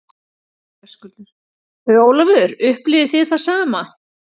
Höskuldur: Ólafur, upplifið þið það sama?